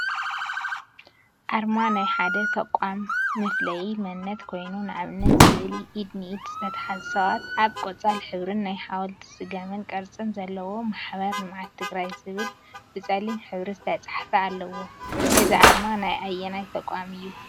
አርማ ናይ ሓደ ተቋ መፍለይ መንነት ኮይኑ፤ ንአብነት ስእሊ ኢድ ንኢድ ዝተተሓዙ ሰባት አብ ቆፃል ሕብሪን ናይ ሓወልቲን ስገም ቅርፂን ዘለዎ ማሕበር ልምዓት ትግራይ ዝብል ብፀሊም ሕብሪ ዝተፀሓፈ አለዎ፡፡ እዚ አርማ ናይ አየናይ ተቋም እዩ?